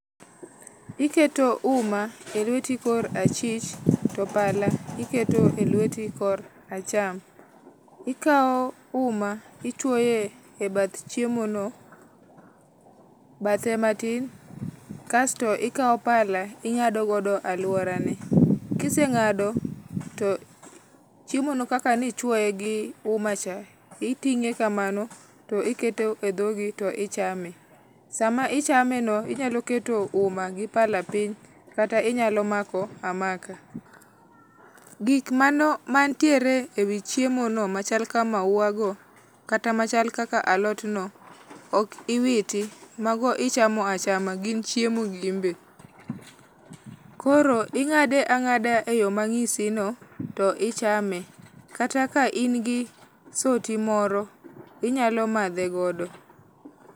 Iketo uma e lweti kor achich, to pala iketo e lweti kor acham. Ikao uma, ichwoye e bath chiemo no, bathe matin kasto ikao pala ing'ado godo alwora ne. Kiseng'ado to, chiemo no kaka nichwoye gi uma cha, iting'e kamano, to iketo e dhogi to ichame. Sama ichame no, inyalo keto uma gi pala piny, kata inyalo mako amaka. Gik mantiere e wi chiemo no machal ka maua go, kata machal kaka alot no, ok iwiti. Mago ichamo achama. Gin chiemo gin be. Koro ing'ade ang'ada e yo manyisi no, to ichame. Kata ka in gi soti moro, inyalo madhe godo.